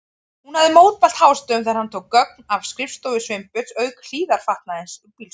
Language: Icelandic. Hún hafði mótmælt hástöfum þegar hann tók gögn af skrifstofu Sveinbjörns, auk hlífðarfatnaðarins úr bílskúrnum.